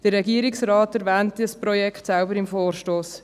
Der Regierungsrat selbst erwähnt das Projekt im Vorstoss.